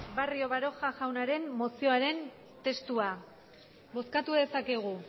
barrio baroja jaunaren mozioaren testua bozkatu dezakegu